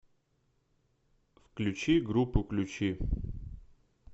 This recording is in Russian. включи группу ключи